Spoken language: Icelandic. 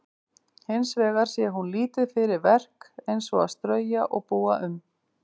Hins vegar sé hún lítið fyrir verk eins og að strauja og búa um.